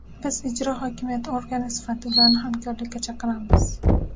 Biz ijro hokimiyati organi sifatida ularni hamkorlikka chaqiramiz.